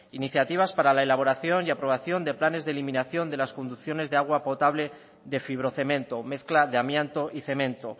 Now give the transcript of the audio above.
iniciativas para la elaboración y aprobación de planes de eliminación de las conducciones de agua potable de fibrocemento mezcla de amianto y cemento